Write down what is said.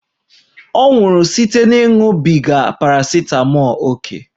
Ọ nwụrụ site na ịṅụbiga parasitamọl ókè